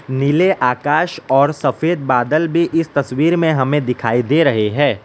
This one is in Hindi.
नीले आकाश और सफेद बादल भी इस तस्वीर में हमें दिखाई दे रहे है।